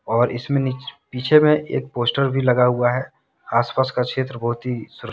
और इसमें पीछे में एक पोस्टर भी लगा हुआ है आस पास का क्षेत्र बहुत ही --